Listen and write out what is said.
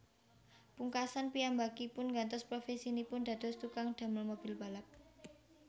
Pungkasan piyambakipun nggantos profèsinipun dados tukang damel mobil balap